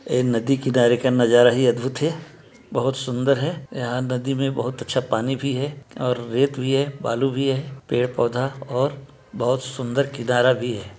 ये नदी किनारे का नज़ारा ही अदभुत है बहुत सुंदर है यहाँ नदी मै बहुत अच्छा पानी भी है और रेत भी है बालू भी है पेड़ पौधा और बहोत सुंदर किनारा भी है।